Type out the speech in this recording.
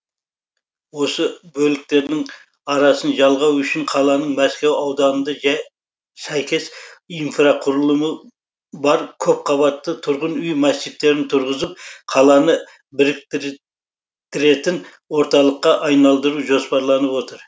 осы бөліктердің арасын жалғау үшін қаланың мәскеу ауданында сәйкес инфрақұрылымы бар көпқабатты тұрғын үй массивтерін тұрғызып қаланы біріктір тіретін орталыққа айналдыру жоспарланып отыр